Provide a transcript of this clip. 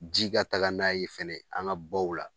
Ji ka taga n'a ye fɛnɛ an ga baw la